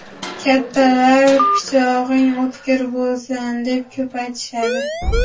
Kattalar pichog‘ing o‘tkir bo‘lsin, deb ko‘p aytishadi.